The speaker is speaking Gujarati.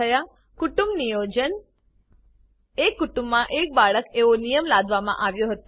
કુટુંબ Niyojanકુટુંમ નિયોજન એક કુટુંબમાં એક બાળક એવો નિયમ લાદવામા આવ્યો હતો